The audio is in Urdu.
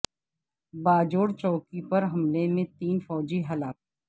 باجوڑ چوکی پر حملے میں تین فوجی ہلاک